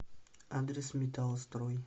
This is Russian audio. адрес металлстрой